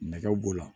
Nɛgɛ b'o la